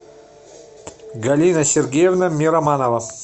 галина сергеевна мироманова